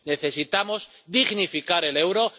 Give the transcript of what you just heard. Necesitamos dignificar el euro.